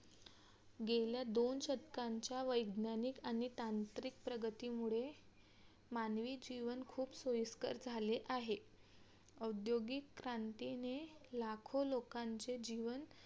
गेल्या दोन शतकांच्या वैज्ञानिक आणि तांत्रिक प्रगतीमुळे मानवी जीवन खूप सोयीस्कर झाले आहे औद्योगिकक्रांतीने लाखो लोकांचे जीवन